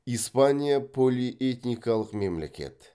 испания полиэтникалық мемлекет